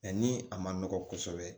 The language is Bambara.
Mɛ ni a ma nɔgɔ kosɛbɛ